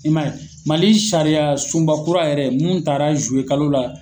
I man ye Mali sariya sunba kura yɛrɛ mun tara zuwe kalo la.